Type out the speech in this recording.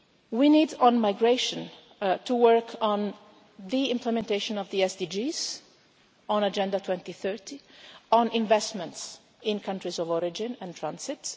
We need, on migration, to work on the implementation of the SDGs, on Agenda 2030, on investments in countries of origin and transit.